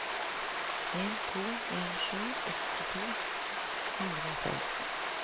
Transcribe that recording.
en to en sju åtti to hundre og seksten